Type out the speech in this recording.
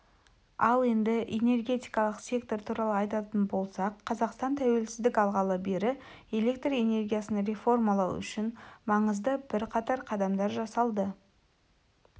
ал енді энергетикалық сектор туралы айтатын болсақ қазақстан туелсіздік алғалы бері электр энергиясын реформалау үшін маңызды бірқатар қадамдар жасалды